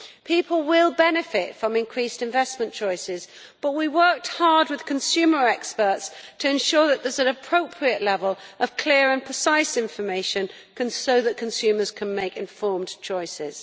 People will benefit from increased investment choices, but we worked hard with consumer experts to ensure that there is an appropriate level of clear and precise information so that consumers can make informed choices.